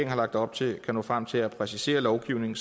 har lagt op til kan nå frem til at præcisere lovgivningen